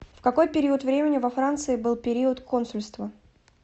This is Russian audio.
в какой период времени во франции был период консульства